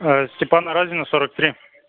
степана разина сорок три